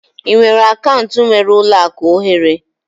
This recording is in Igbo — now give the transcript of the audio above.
Ị nwere akaụntụ nwere ụlọ akụ ohere?